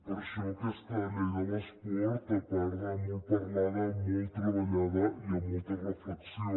per això aquesta llei de l’esport a part de molt parlada molt treballada hi ha molta reflexió